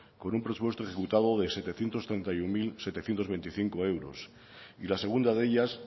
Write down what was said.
con un presupuesto ejecutado de setecientos treinta y uno mil setecientos veinticinco euros y la segunda de ellas